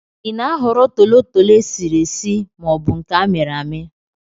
Ị na-ahọrọ tolotolo esiri esi ma ọ bụ nke amiri ami?